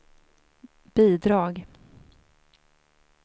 bidrag